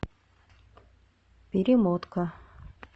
перемотка